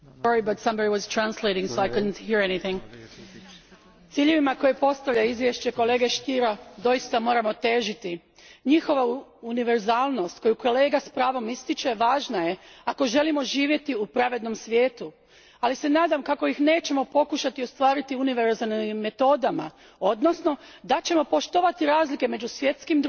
Gospodine predsjedniče, ciljevima koje postavlja izvješće kolege Stiera doista moramo težiti. Njihova univerzalnost, koju kolega s pravom ističe, važna je ako želimo živjeti u pravednom svijetu, ali se nadam kako ih nećemo pokušati ostvariti univerzalnim metodama, odnosno da ćemo poštovati razlike među svjetskim društvima, narodima i kulturama.